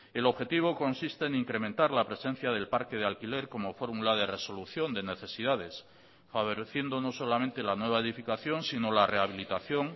el objetivo consiste en incrementar la presencia del parque de alquiler como fórmula de resolución de necesidades favoreciendo no solamente la nueva edificación sino la rehabilitación